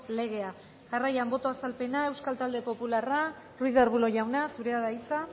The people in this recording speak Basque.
legea jarraian boto azalpena euskal talde popularra ruiz de arbulo jauna zurea da hitza